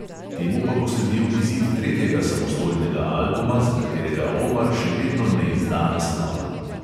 Temu pa bo sledil izid tretjega samostojnega albuma, za katerega omar še vedno ne izda naslova.